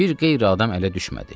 Bir qeyri adam ələ düşmədi.